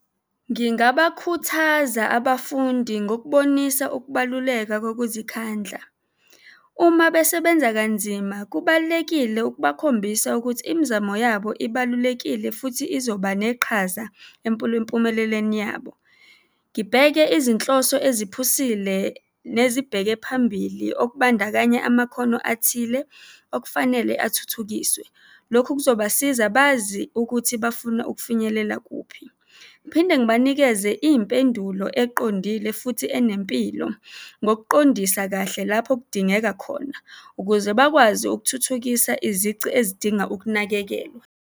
Ngingabakhuthaza abafundi ngokubonisa ukubaluleka kokuzikhandla. Uma besebenza kanzima, kubalulekile ukubakhombisa ukuthi imizamo yabo ibalulekile futhi izoba neqhaza empumelelweni yabo. Ngibheke izinhloso eziphusile nezibheke phambili, okubandakanya amakhono athile okufanele athuthukiswe. Lokhu kuzobasiza bazi ukuthi bafuna ukufinyelela kuphi. Ngiphinde ngibanikeze iy'mpendulo eqondile futhi enempilo, ngokuqondisa kahle lapho kudingeka khona, ukuze bakwazi ukuthuthukisa izici ezidinga ukunakekelwa.